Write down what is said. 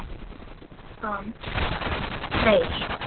Rósant Freyr.